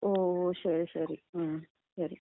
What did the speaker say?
ഓ, ശരി ശരി ഉം, ശരി ശരി.